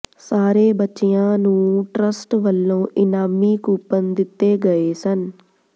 ਸਾਰੇ ਬੱਚਿਆਂ ਨੂੰ ਟਰੱਸਟ ਵੱਲੋਂ ਇਨਾਮੀ ਕੂਪਨ ਦਿੱਤੇ ਗਏ ਸਨ